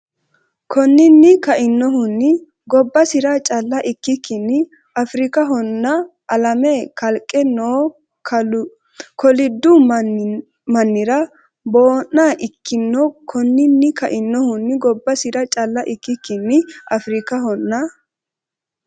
Konninni kainohunni gobbasira calla ikkikkinni Afrikahonna alame kalqete noo koliddu man- nira boo’na ikkino Konninni kainohunni gobbasira calla ikkikkinni Afrikahonna.